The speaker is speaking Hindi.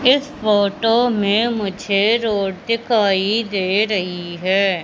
इस फोटो में मुझे रोड दिखाई दे रही है।